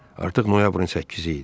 Artıq noyabrın 8 idi.